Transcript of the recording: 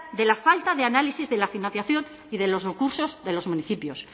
de la falta de análisis de la financiación y de los recursos de los municipios